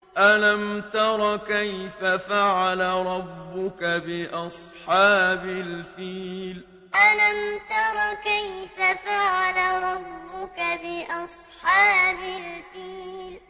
أَلَمْ تَرَ كَيْفَ فَعَلَ رَبُّكَ بِأَصْحَابِ الْفِيلِ أَلَمْ تَرَ كَيْفَ فَعَلَ رَبُّكَ بِأَصْحَابِ الْفِيلِ